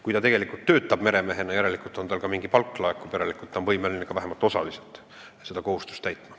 Kui ta töötab meremehena, siis järelikult laekub talle mingi palk ja ta on võimeline vähemalt osaliselt ka seda kohustust täitma.